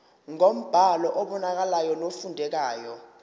ngombhalo obonakalayo nofundekayo